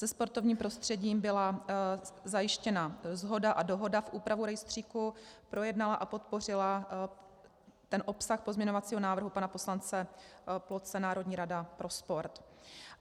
Se sportovním prostředím byla zajištěna shoda a dohoda v úpravu rejstříku, projednala a podpořila ten obsah pozměňovacího návrhu pana poslance Ploce Národní rada pro sport.